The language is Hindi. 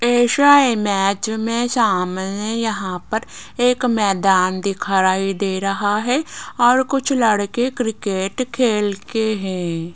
ऐसा इमेज मेरे सामने यहां पर एक मैदान दिखाई दे रहा है और कुछ लड़के क्रिकेट खेलके हैं।